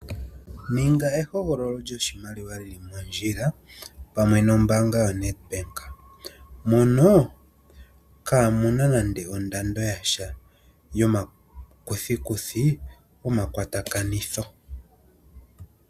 Ninga ehogololo lyoshimaliwa lili mondjila pamwe nombaanga yo Nedbank, mono kaamuna nande ondando yasha yomakuthikuthi gomakwatakanitho.